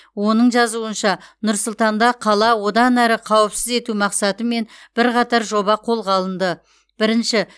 оның жазуынша нұр сұлтанда қала одан әрі қауіпсіз ету мақсатымен бірқатар жоба қолға алынды бірінші